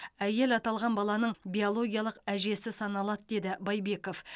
әйел аталған баланың биологиялық әжесі саналады деді байбеков